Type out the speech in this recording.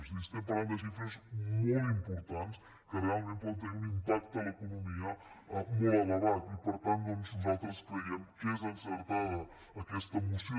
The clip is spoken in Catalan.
és a dir es·tem parlant de xifres molt importants que realment poden tenir un impacte a l’economia molt elevat i per tant doncs nosaltres creiem que és encertada aques·ta moció